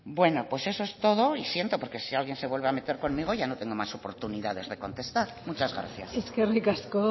bueno eso es todo y siento porque si alguien se vuelve a meter conmigo ya no tengo más oportunidades de contestar muchas gracias eskerrik asko